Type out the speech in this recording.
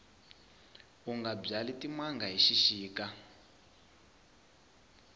unga byali timanga hi xixika